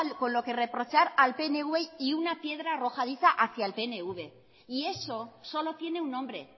con lo que reprochar al pnv y una piedra arrojadiza hacía el pnv y eso solo tiene un nombre